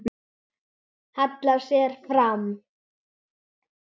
Hallar sér fram.